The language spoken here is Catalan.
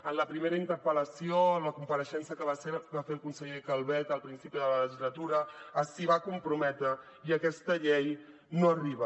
en la primera interpel·lació en la compareixença que va fer el conseller calvet al principi de la legislatura s’hi va comprometre i aquesta llei no arriba